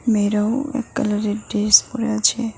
মেয়েরাও এক কালারের ডেস পরে আছে।